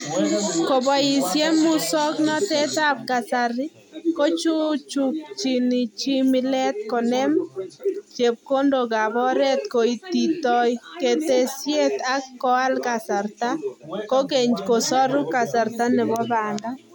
Koboisye musoknatetab kasari, kochuchukchini chi mileetab konem chepkondookab oret koititoi ketesyet ak koal kasarta: kokeny kosoru kasarta nebo banda.